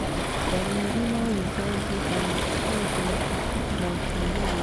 Ndariri noicenjie amu kũndũ na kwĩhĩrĩria kwa itharĩkĩra nĩgũtigaine